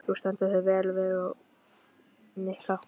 Þú stendur þig vel, Verónika!